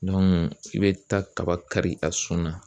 i bɛ taa kaba kari a sun na